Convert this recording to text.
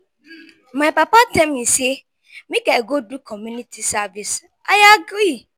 my papa tell me say make i go do community service i agree.